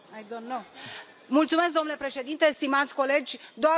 Domnule președinte, stimați colegi, doar 30 de secunde.